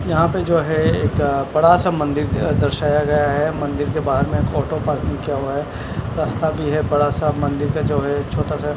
यहां पे जो है एक बड़ा सा मंदिर अह दर्शाया गया है मंदिर के बाहर में ऑटो पार्किंग किया हुआ है रास्ता भी है बड़ा सा मंदिर का जो है छोटा सा--